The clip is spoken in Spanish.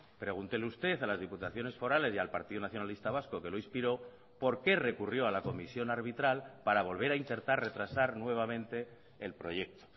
pregúntele usted a las diputaciones forales y al partido nacionalista vasco que lo inspiró por qué recurrió a la comisión arbitral para volver a intentar retrasar nuevamente el proyecto